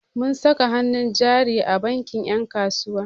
Mun saka hannun jari a bankin 'yan kasuwa.